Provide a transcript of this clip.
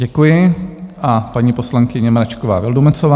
Děkuji a paní poslankyně Mračková Vildumetzová.